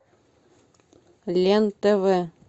лен тв